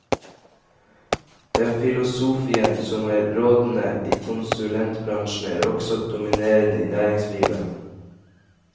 Den filosofien som er rådende i konsulentbransjen, er også dominerende i næringslivet.